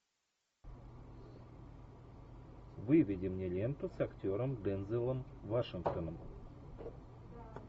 выведи мне ленту с актером дензелом вашингтоном